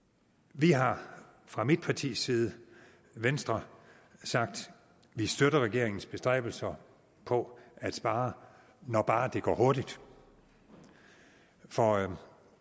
vi har fra mit partis side venstre sagt at vi støtter regeringens bestræbelser på at spare når bare det går hurtigt for